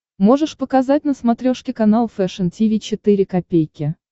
можешь показать на смотрешке канал фэшн ти ви четыре ка